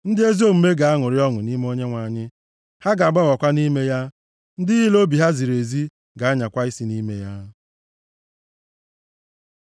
Ndị ezi omume ga-aṅụrị ọṅụ nʼime Onyenwe anyị, ha ga-agbabakwa nʼime ya; ndị niile obi ha ziri ezi ga-anyakwa isi nʼime ya.